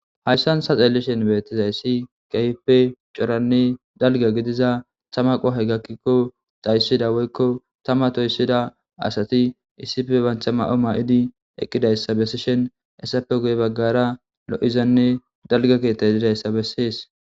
Hayisani tani xelishini betizayisi kehippe coranne daliga gidiza tama qohayi gakikk dhasiza woyikko tama tosida asati issippe banita mayo mayidi eqidayisa besishini hesappe guye bagara loizanne daliga keeththayi dizayisa besesi